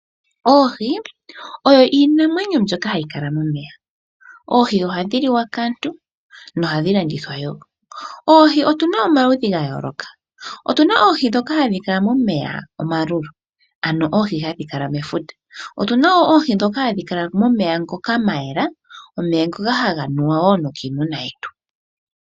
Oohi oyo iinamwenyo mbyoka hayi kala momeya. Oohi ohadhi liwa kaantu, nohadhi landithwa wo. Oohi otu na omaludhi ga yooloka. Otu na oohi ndhoka hadhi kala momeya omalulu, ano oohi hadhi kala mefuta. Otu na wo oohi ndhoka hadhi kala momeya ngoka ga yela, omeya ngoka haga nuwa wo nokiimuna yetu.